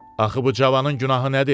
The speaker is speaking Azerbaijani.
Axı bu cavanın günahı nədir?